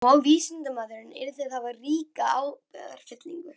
Og vísindamaðurinn yrði að hafa ríka ábyrgðartilfinningu.